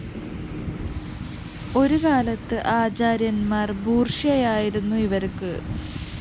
ഒരുകാലത്ത് ആചാര്യന്‍മാര്‍ ബൂര്‍ഷ്വയായിരുന്നു ഇവര്‍ക്ക്